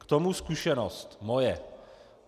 K tomu zkušenost moje.